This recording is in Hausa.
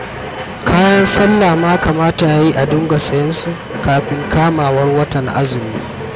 Kayan sallah ma kamata ya yi a dinga sayen su kafin kamawar watan azumi